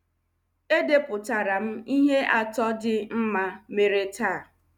Edepụtara m ihe atọ dị mma mere taa.